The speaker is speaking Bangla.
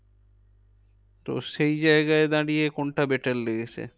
তো সেই জায়গায় দাঁড়িয়ে কোনটা better লেগেছে?